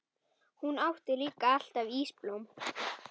Hún átti líka alltaf ísblóm.